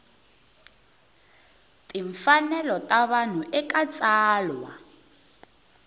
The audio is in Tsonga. timfanelo ta vanhu eka tsalwa